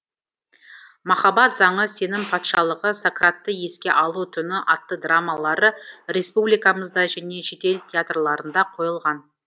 махаббат заңы сенім патшалығы сократты еске алу түні атты драмалары республикамызда және шетел театрларында қойылған